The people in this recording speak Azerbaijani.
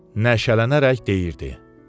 Nəşələnərək deyirdi.